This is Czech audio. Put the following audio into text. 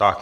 Tak.